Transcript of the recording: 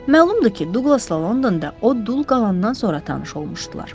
Məlumdur ki, Duqlasla Londonda o dul qalqandan sonra tanış olmuşdular.